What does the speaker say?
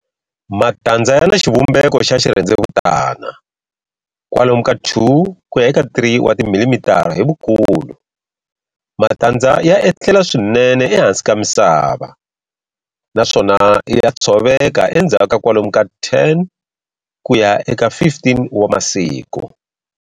Matandza yana xivumbeko xa xirhendzevutani, kwalomu ka 2-3mm hi vukulu. Matandza ya etlela swinene ehansi ka misava, naswona ya tshoveka endzhaku ka kwalomu ka 10-15 wa masiku.